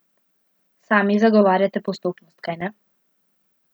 Sami zagovarjate postopnost, kajne?